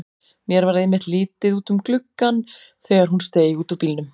Mér varð einmitt litið út um gluggann þegar hún steig út úr bílnum.